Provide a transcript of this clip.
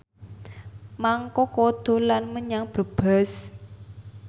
Mang Koko dolan menyang Brebes